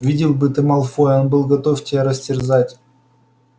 видел бы ты малфоя он был готов тебя растерзать